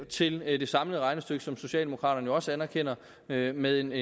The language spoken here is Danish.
til det samlede regnestykke som socialdemokraterne jo også anerkender med med en